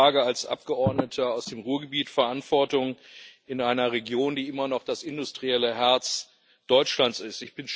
Ich trage als Abgeordneter aus dem Ruhrgebiet Verantwortung in einer Region, die immer noch das industrielle Herz Deutschlands ist.